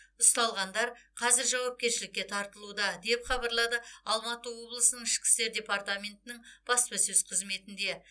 ұсталғандар қазір жауапкершілікке тартылуда деп хабарлады алматы облысының ішкі істер департаментінің баспасөз қызметінде